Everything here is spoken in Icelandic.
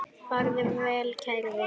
Farðu vel kæri vinur.